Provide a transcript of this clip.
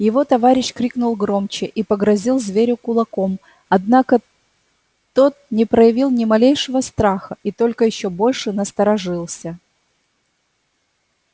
его товарищ крикнул громче и погрозил зверю кулаком однако тот не проявил ни малейшего страха и только ещё больше насторожился